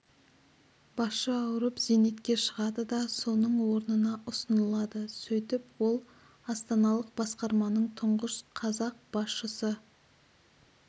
басшы ауырып зейнетке шығады да соның орнына ұсынылады сөйтіп ол астаналық басқарманың тұңғыш қазақ басшысы